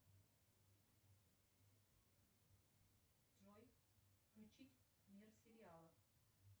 джой включить мир сериалов